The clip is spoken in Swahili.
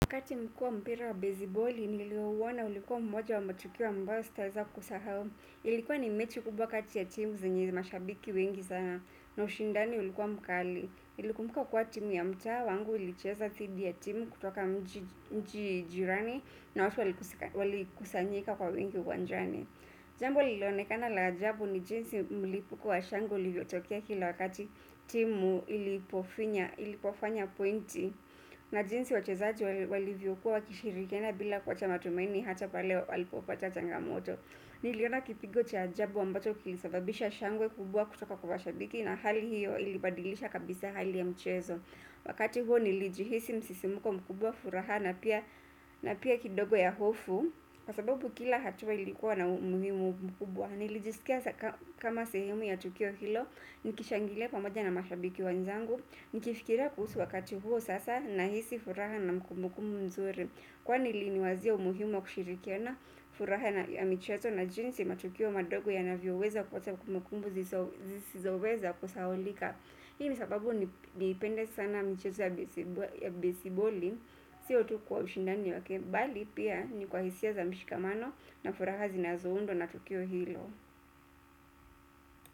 Wakati nlikuwa mpira wa bezi boli nilio uona ulikuwa mmoja wa matukio ambao siteaza kusahau. Ilikuwa ni mechi kubwa kati ya timu zenye mashabiki wengi sana na ushindani ulikuwa mkali nilikumbuka kuwa timu ya mtaa wangu ulicheza thidi ya timu kutoka mji jirani na watu wali kusanyika kwa wengi uwanjani. Jambo lililoonekana la ajabu ni jinsi mlipuko wa shangwe ulivyotokea kila wakati timu ilipofanya pointi na jinsi wachezaji walivyo kuwa wakishirikiana bila kuacha matumaini hasa pale walipopata changamoto. Niliona kipigo cha ajabu ambacho kilisababisha shangwe kubwa kutoka kwa mashabiki na hali hiyo ilibadilisha kabisa hali ya mchezo. Wakati huo nilijihisi msisimuko mkubwa furaha na pia kidogo ya hofu. Kwa sababu kila hatua ilikuwa na umuhimu mkubwa. Nilijisikia kama sehemu ya tukio hilo. Nikishangilia pamoja na mashabiki wenzangu. Nikifikiria kuhusu wakati huo sasa na hisi furaha na makumbukumu mzuri kuwa nili ni wazia umuhimu wa kushirikiana furaha na michezo na jinsi matukio madogo yanavyo weza kuwacha kumbukumbu zisizoweza ku sahaulika. Hii nisababu niipende sana michezo ya besiboli. Sio tu kwa ushindani wake bali pia ni kwa hisia za mishikamano na furaha zinazoundwa na tukio hilo.